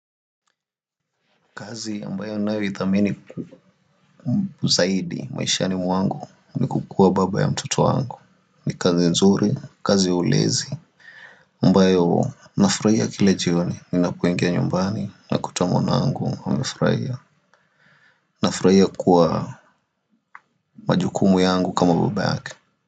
Kazi ambayo ninayoithamini kuzaidi maishani mwangu ni kukua baba ya mtoto wangu ni kazi nzuri kazi ulezi ambayo nafurahia kila jioni ninapoingia nyumbani nakuta mwanangu anafurahia nafurahia kwa majukumu yangu kama baba yake.